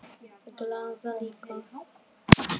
Glaða líka.